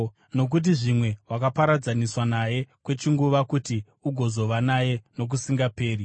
Nokuti zvimwe wakaparadzaniswa naye kwechinguva kuti ugozova naye nokusingaperi,